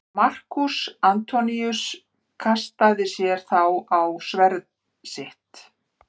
Markús Antoníus kastaði sér þá á sverð sitt.